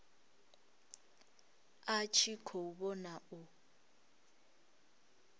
a tshi khou vhona u